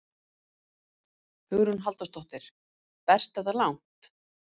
Hugrún Halldórsdóttir: Berst þetta langt?